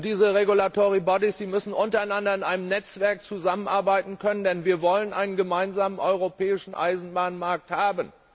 Diese regulatory bodies müssen in einem Netzwerk zusammenarbeiten können, denn wir wollen einen gemeinsamen europäischen Eisenbahnmarkt haben.